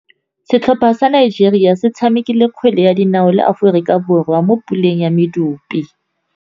Setlhopha sa Nigeria se tshamekile kgwele ya dinaô le Aforika Borwa mo puleng ya medupe.